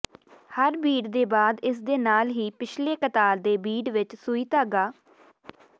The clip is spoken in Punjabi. ਹਰ ਬੀਡ ਦੇ ਬਾਅਦ ਇਸ ਦੇ ਨਾਲ ਹੀ ਪਿਛਲੇ ਕਤਾਰ ਦੇ ਬੀਡ ਵਿੱਚ ਸੂਈ ਧਾਗਾ